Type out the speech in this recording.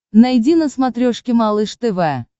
найди на смотрешке малыш тв